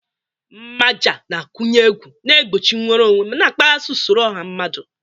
Mmaja na-akụnye egwu, na-egbochi nnwere onwe, ma na-akpaghasị usoro ọha mmadụ.